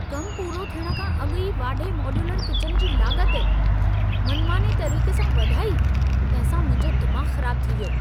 कमु पूरो थियण खां अॻु ई वाढे मॉड्यूलर किचन जी लाॻत, मनमाने तरीक़े सां वधाई तंहिं सां मुंहिंजो दिमाग़ु ख़राबु थी वियो।